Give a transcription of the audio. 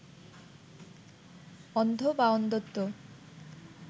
অন্ধ বা অন্ধত্ব